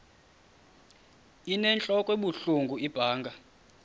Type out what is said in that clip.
inentlok ebuhlungu ibanga